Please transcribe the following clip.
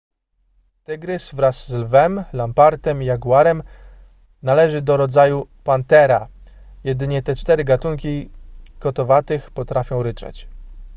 tygrys wraz z lwem lampartem i jaguarem należy do rodzaju panthera jedynie te cztery gatunki kotowatych potrafią ryczeć